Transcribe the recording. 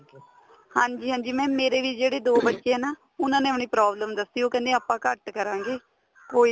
ਹਾਂਜੀ ਹਾਂਜੀ mam ਮੇਰੇ ਵੀ ਜਿਹੜੇ ਦੋ ਬੱਚੇ ਏ ਨਾ ਉਹਨਾ ਨੇ ਆਪਣੀ problem ਦਸੀ ਬੀ ਉਹ ਕਹਿੰਦੇ ਆਪਾਂ ਘੱਟ ਕਰਾਂਗੇ ਕੋਈ